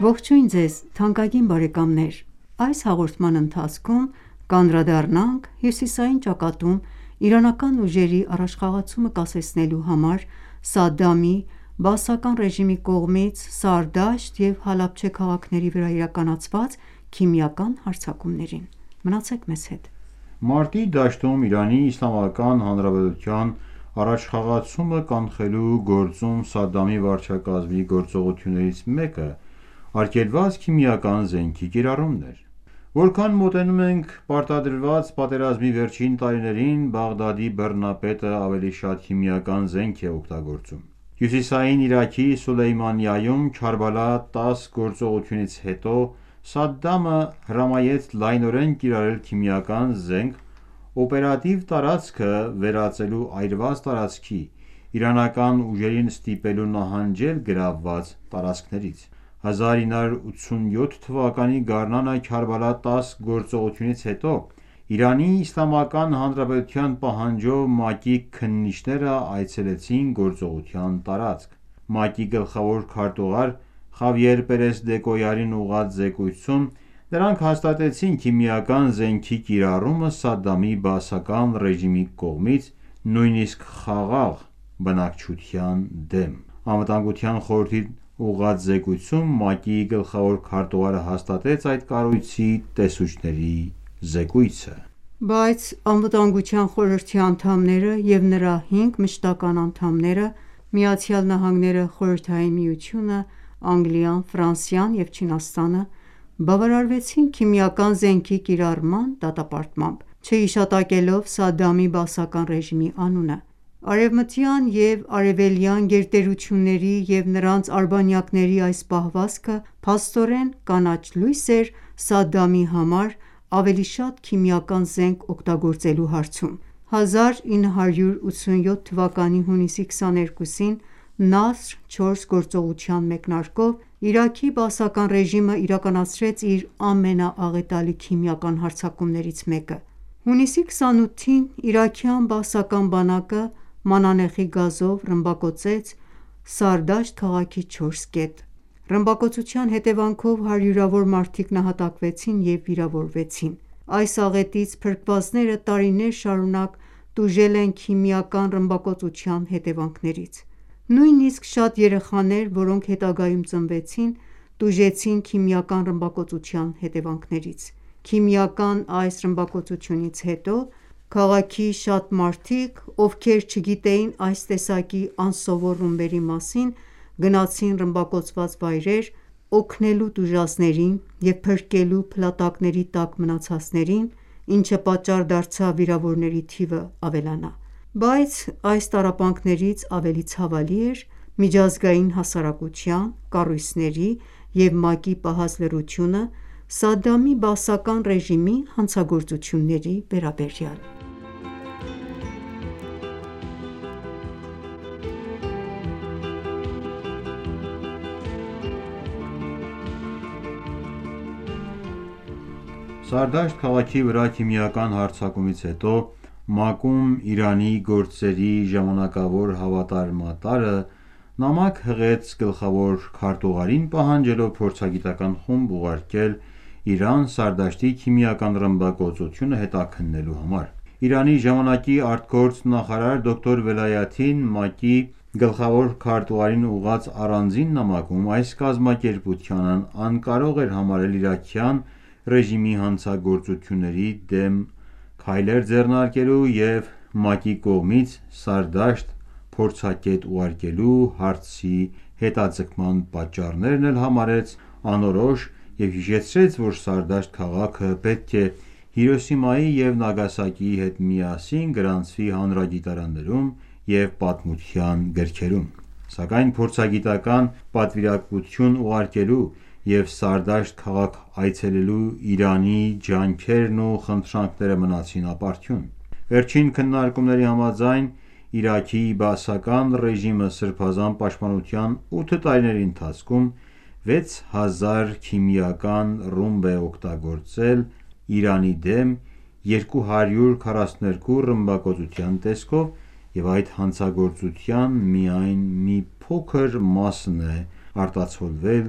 Ողջույն ձեզ թանկագին բարեկամներ: Այս հաղորդման ընթացքում կանդրադառնանք հյուսիային ճակատում իրանական ուժերի առաջխաղացումը կասեցնելու համար Սադդամի բաասական ռեժիմի կողմից Սարդաշտ և Հալաբչե քաղաքների վրա իրականացված քիմիական հարձակումներին: Մարտի դաշտում ԻԻՀ-ի առաջխաղացումը կանխելու գործում Սադամի վարչակարգի գործողություններից մեկն արգելված քիմիական զենքի կիրառումն էր։ Որքան մոտենում ենք պարտադրված պատերազմի վերջին տարիներին, Բաղդադի բռնապետն ավելի շատ քիմիական զենք էր օգտագործում։ Հյուսիսային Իրաքի Սուլեյմանիայում Քարբալա 10 գործողությունից հետո Սադդամը հրամայեց լայնորեն կիրառել քիմիական զենք՝ օպերատիվ տարածքը վերածելու այրված տարածքի՝ իրանական ուժերին ստիպելու նահանջել գրավված տարածքներից: 1987 թվականի գարնանը Քարբալա 10 գործողությունից հետո ԻԻՀ-ի պահանջով ՄԱԿ-ի քննիչերն այցելեցին գործողության տարածք։ ՄԱԿ-ի գլխավոր քարտուղար Խավիեր Պերես Դեկոյարին ուղղված զեկույցում նրանք հաստատեցին քիմիական զենքի կիրառումը Սադամի բաասական ռեժիմի կողմից՝ նույնիսկ խաղաղ բնակչության դեմ: ԱԽ-ին ուղղված զեկույցում ՄԱԿ-ի գլխավոր քարտուղարը հաստատեց այդ կառույցի տեսուչների զեկույցը: Բայց ԱԽ-ի անդամները և նրա հինգ մշտական ​​անդամները՝ ԱՄՆ-ը, Խորհրդային Միությունը, Անգլիան, Ֆրանսիան և Չինաստանը, բավարարվեցին քիմիական զենքի կիրառման դատապարտմամբ՝ չհիշատակելով Սադամի բաասական ռեժիմի անունը: Արևմտյան և արևելյան գերտերությունների և նրանց արբանյակների այս պահվածքը փաստորեն կանաչ լույս էր Սադամի համար ավելի շատ քիմիական զենք օգտագործելու հարցում: 1987 թվականի հունիսի 22-ին «Նասր 4» գործողության մեկնարկով Իրաքի բաասական ռեժիմը իրականացրեց իր ամենաաղետալի քիմիական հարձակումներից մեկը: Հունիսի 28-ին իրաքյան բաասական բանակը մանանեխի գազով ռմբակոծեց Սարդաշտ քաղաքի չորս կետ։ Այս ռմբակոծության հետևանքով հարյուրավոր մարդիկ նահատակվեցին և վիրավորվեցին։ Այս աղետից փրկվածները տարիներ շարունակ տուժել են քիմիական ռմբակոծության հետևանքներից։ Նույնիսկ շատ երեխաներ, որոնք հետագայում ծնվեցին, տուժեցին քիմիական ռմբակոծության հետևանքներից: Քիմիական այս ռմբակոծությունից հետո քաղաքի շատ մարդիկ, ովքեր չգիտեին այս տեսակի անսովոր ռումբերի մասին, գնացին ռմբակոծված վայրեր՝ օգնելու տուժածներին և փրկելու փլատակների տակ մնացածներին, ինչը պատճառ դարձավ վիրավորների թիվը ավելանա: Բայց այս տառապանքներից ավելի ցավալի էր միջազգային հասարակության, կառույցների և ՄԱԿ-ի լռությունը Սադամի բաասական ​​ռեժիմի հանցագործությունների վերաբերյալ: Սարդաշտի աղետը Սարդաշտ քաղաքի վրա քիմիական հարձակումից հետո ՄԱԿ-ում Իրանի գործերի ժամանակավոր հավատարմատարը նամակ հղեց գլխավոր քարտուղարին՝ պահանջելով փորձագիտական ​​խումբ ուղարկել Իրան՝ Սարդաշտի քիմիական ռմբակոծությունը հետաքննելու համար: Իրանի ժամանակի ԱԳ նախարար դոկտոր Վելայաթին ՄԱԿ-ի գլխավոր քարտուղարին ուղղված առանձին նամակում այս կազմակերպությանն անկարող էր համարել իրաքյան ռեժիմի հանցագործությունների դեմ քայլեր ձեռնարկելու և ՄԱԿ-ի կողմից Սարդաշտ փորձագետ ուղարկելու հարցի հետաձգման պատճառները համարեց անորոշ և հիշեցրեց, որ Սարդաշտ քաղաքը պետք է Հիրոսիմայի և Նագասակիի հետ միասին գրանցվի հանրագիտարաններում և պատմության գրքերում: Սակայն փորձագիտական ​​պատվիրակություն ուղարկելու և Սարդաշտ քաղաք այցելելու ԻԻՀ-ի ջանքերն ու խնդրանքներն մնացին ապարդյուն։ Վերջին քննարկումների համաձայն՝ Իրաքի բաասական ռեժիմը Սրբազան պաշտպանության ութ տարիների ընթացքում 6000 քիմիական ռումբ է օգտագործել Իրանի դեմ՝ 242 ռմբակոծության տեսքով, և այդ հանցագործության միայն մի փոքր մասն է արտացոլվել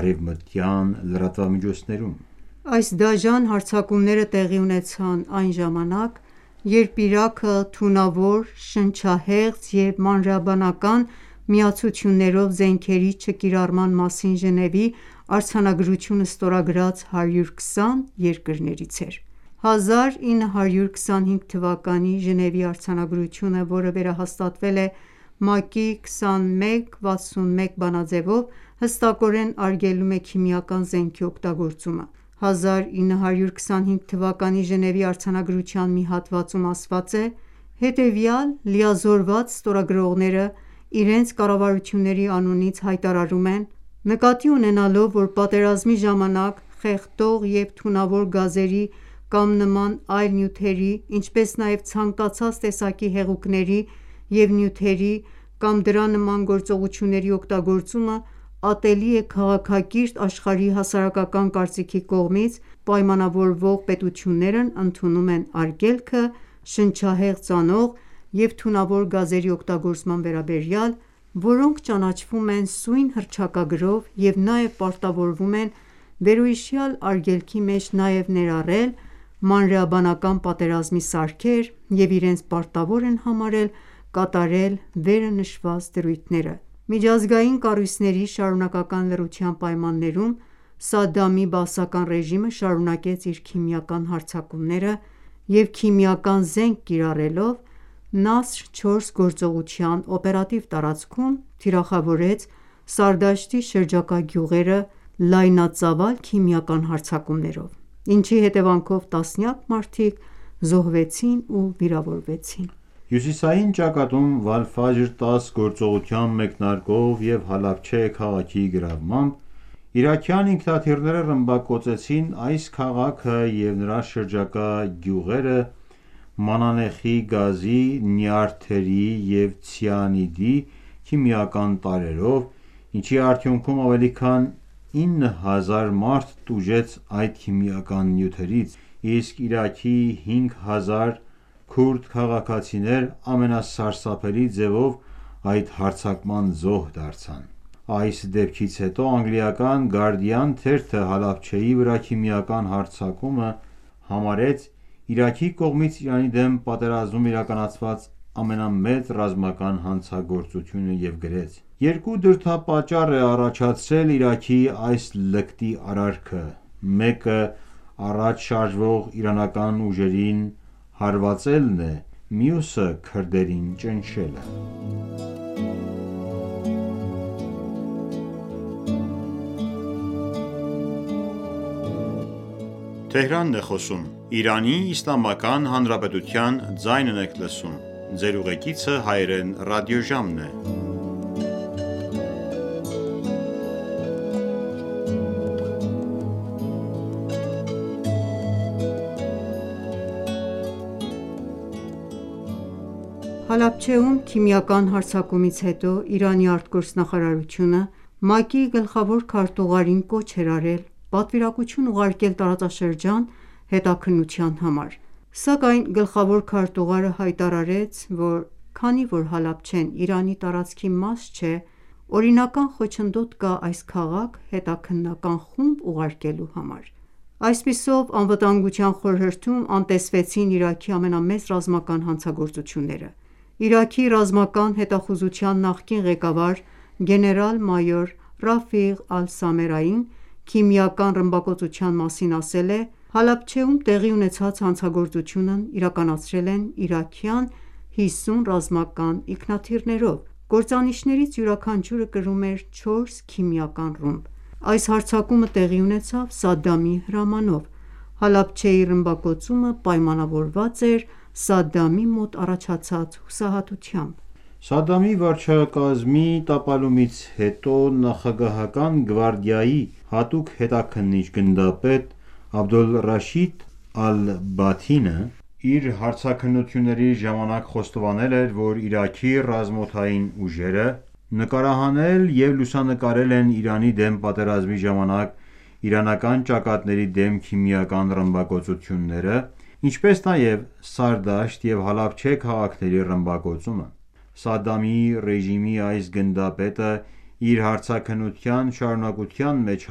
արևմտյան լրատվամիջոցներում։ Այս դաժան հարձակումները տեղի ունեցան այն ժամանակ, երբ Իրաքը, թունավոր, շնչահեղձ և մանրէաբանական միացություններով զենքերի չկիրառման մասին Ժնևի արձանագրությունը ստորագրած 120 երկրներից էր: 1925 թվականի Ժնևի արձանագրությունը, որը վերահաստատվել է ՄԱԿ-ի 2161 (21)B բանաձևով, հստակորեն արգելում է քիմիական զենքի օգտագործումը։ 1925 թվականի Ժնևի արձանագրության մի հատվածում ասված է.«Հետևյալ լիազորված ստորագրողները իրենց կառավարությունների անունից հայտարարում են. Նկատի ունենալով, որ պատերազմի ժամանակ խեղդող և թունավոր գազերի կամ նման այլ նյութերի, ինչպես նաև ցանկացած տեսակի հեղուկների և նյութերի կամ դրա նման գործողությունների օգտագործումը ատելի է քաղաքակիրթ աշխարհի հասարակական կարծիքի կողմից, պայմանավորվող պետություններն ընդունում են արգելքը՝ շնչահեղձ անող և թունավոր գազերի օգտագործման վերաբերյալ, որոնք ճանաչվում են սույն հռչակագրով և նաև պարտավորվում են վերոհիշյալ արգելքի մեջ նաև ներառել մանրէաբանական պատերազմի սարքեր և իրենց պարտավոր են համարել կատարել վերը նշված դրույթները»: Միջազգային կառույցների շարունակական լռության պայմաններում Սադամի բաասական ռեժիմը շարունակեց իր քիմիական հարձակումները և քիմիական զենք կիրառելով Նասր 4 գործողության օպերատիվ տարածքում՝ թիրախավորեց Սարդաշտի շրջակա գյուղերը լայնածավալ քիմիական հարձակումներով, ինչի հետևանքով տասնյակ մարդիկ զոհվեցին ու վիրավորվեցին: Հյուսիսային ճակատում Վալ-Ֆաջր 10 գործողության մեկնարկով և Հալաբչե քաղաքի գրավմամբ իրաքյան ինքնաթիռները ռմբակոծեցին այս քաղաքը և նրա շրջակա գյուղերը մանանեխի գազի, նյարդերի և ցիանիդի քիմիական տարրերով, ինչի արդյունքում ավելի քան ինը հազար մարդ տուժեց այդ քիմիական նյութերից, իսկ Իրաքի հինգ հազար քուրդ քաղաքացիներ ամենասարսափելի ձևով այդ հարձակման զոհ դարձան։ Այս դեպքից հետո անգլիական Guardian թերթը Հալաբչեի վրա քիմիական հարձակումը համարեց Իրաքի կողմից Իրանի դեմ պատերազմում իրականացված ամենամեծ ռազմական հանցագործությունը և գրեց.«Երկու դրդապատճառ է առաջացրել Իրաքի այս լկտի արարքը: Մեկը առաջ շարժվող իրանական ուժերին հարվածելն է, մյուսը՝ քրդերին ճնշելը»: Իրաքի հանցագործությունը Հալաբչեում Հալաբչեում քիմիական հարձակումից հետո Իրանի ԱԳՆ-ն ՄԱԿ-ի գլխավոր քարտուղարին կոչ էր արել պատվիրակություն ուղարկել տարածաշրջան՝ հետաքննության համար։ Սակայն, գլխավոր քարտուղարը հայտարարեց, որ քանի որ Հալաբչեն Իրանի տարածքի մաս չէ, օրինական խոչընդոտ կա այս քաղաք հետաքննական խումբ ուղարկելու համար։ Այդպիսով ԱԽ-ում անտեսվեցին Իրաքի ամենամեծ ռազմական հանցագործությունները։ Իրաքի ռազմական հետախուզության նախկին ղեկավար, գեներալ-մայոր Ռաֆիղ Ալ-Սամերային քիմիական ռմբակոծության մասին ասել է.«Հալաբչեում տեղի ունեցած հանցագործությունն իրականացրել են իրաքյան 50 ռազմական ինքնաթիռներով: Կործանիչներից յուրաքանչյուրը կրում էր չորս քիմիական ռումբ։ Այս հարձակումը տեղի ունեցավ Սադամի հրամանով։ Հալաբչեի ռմբակոծումը պայմանավորված էր Սադամի մոտ առաջացած հուսահատությամբ»։ Սադամի վարչակարգի տապալումից հետո նախագահական գվարդիայի հատուկ հետաքննիչ, գնդապետ Աբդոլռաշիդ Ալ-Բաթինը իր հարցաքննությունների ժամանակ խոստովանել է, որ Իրաքի ռազմաօդային ուժերը նկարահանել և լուսանկարել են Իրանի դեմ պատերազմի ժամանակ իրանական ճակատների դեմ քիմիական ռմբակոծությունները, ինչպես նաև Սարդաշտ և Հալաբչե քաղաքների ռմբակոծումը։ Սադամի ռեժիմի այս գնդապետն իր հարցաքննության շարունակության մեջ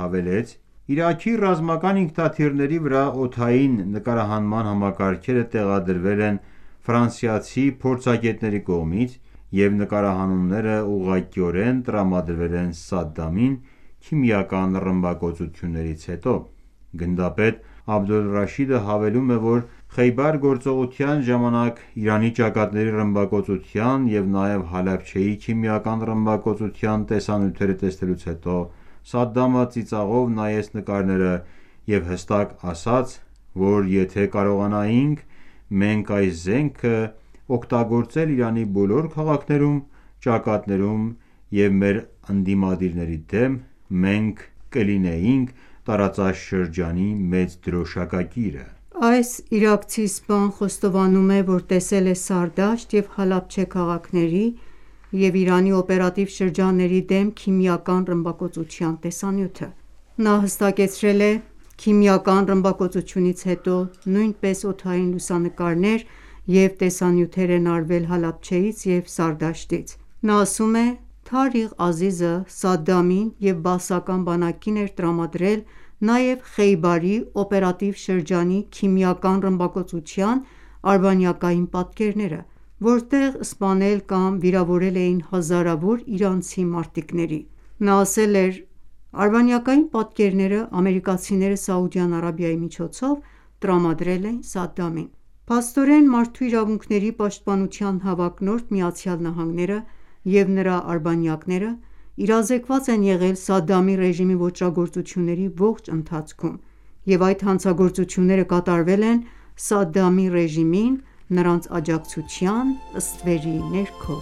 հավելեց.«Իրաքի ռազմական ինքնաթիռների վրա օդային նկարահանման համակարգերը տեղադրվել են ֆրանսիացի փորձագետների կողմից և նկարահանումները ուղղակիորեն տրամադրվել Սադդամին՝ քիմիական ռմբակոծություններից հետո»։ Գնդապետ Աբդոլ Ռաշիդը հավելում է, որ Խեյբար գործողության ժամանակ Իրանի ճակատների ռմբակոծության և նաև Հալաբչեի քիմիական ռմբակոծության տեսանյութերը տեսնելուց հետո Սադամը ծիծաղով նայեց նկարները, և հստակ ասաց, որ եթե կարողանայինք, մենք այս զենքը օգտագործել Իրանի բոլոր քաղաքներում, ճակատներում և մեր ընդդիմադիրների դեմ, մենք կլինենք տարածաշրջանի մեծ դրոշակակիրը։ Այս իրաքցի սպան խոստովանում է, որ տեսել է Սարդաշտ և Հալաբչե քաղաքների և Իրանի օպերատիվ շրջանների դեմ քիմիական ռմբակոծության տեսանյութը։ Նա հստակեցրել է.«Քիմիական ռմբակոծությունից հետո նույնպես օդային լուսանկարներ և տեսանյութեր են արվել Հալաբչեից և Սարդաշտից»։ նա ասում է. Թարիղ Ազիզը Սադամին և բաասական բանակին էր տրամադրել նաև Խեյբարի օպերատիվ շրջանի քիմիական ռմբակոծության արբանյակային պատկերները, որտեղ սպանել կամ վիրավորել էին հազարավոր իրանցի մարտիկների։ Նա ասել էր, որ արբանյակային պատկերները ամերիկացիները Սաուդյան Արաբիայի միջոցով տրամադրել էին Սադդամին: Փաստորեն, մարդու իրավունքների պաշտպանության հավակնորդ ԱՄՆ-ն ​​և նրա արբանյակները իրազեկված են եղել Սադամի ռեժիմի ոճրագործությունների ողջ ընթացքում, և այդ հանցագործությունները կատարվել են Սադամի ռեժիմին նրանց աջակցության ստվերի ներքո։